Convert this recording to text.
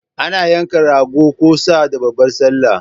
Ana yanka Rago ko Sa da babbar sallah